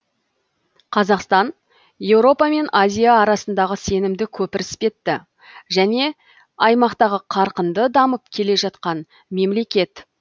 қазақстан еуропа мен азия арасындағы сенімді көпір іспетті және аймақтағы қарқынды дамып келе жатқан мемлекет